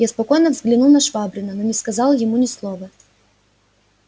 я спокойно взглянул на швабрина но не сказал ему ни слова